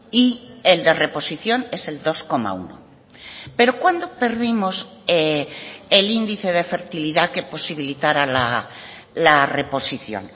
y el de reposición es el dos coma uno pero cuándo perdimos el índice de fertilidad que posibilitara la reposición